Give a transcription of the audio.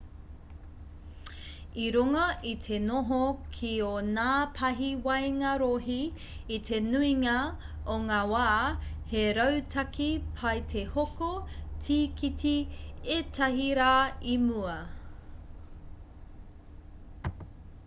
i runga i te noho kī o ngā pahi waenga-rohe i te nuinga o ngā wā he rautaki pai te hoko tīkiti ētahi rā i mua